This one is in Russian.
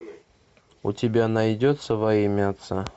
у тебя найдется во имя отца